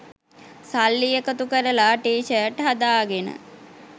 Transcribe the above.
සල්ලි එකතු කරලා ටී ෂර්ට් හදාගෙන